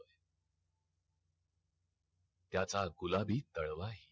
त्याचा गुलाबी ताल्वाही